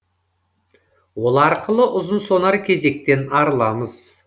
ол арқылы ұзын сонар кезектен арыламыз